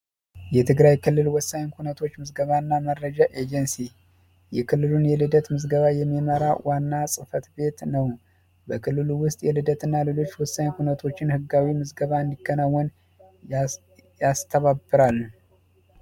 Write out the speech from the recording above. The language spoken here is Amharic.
የትግራይ ክልል ወሳኝ ኩህነት ምዝገባ ኤጀንሲ በክልሉ የልደት ወረቀት እና የተለያዩ ወሳኝ ክህነት ምዝገባ እንዲከናወን ያስተባብራል።